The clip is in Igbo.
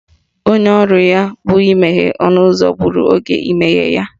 Onye ọrụ ya bụ imeghe ọnụụzọ gburu oge imeghe ya.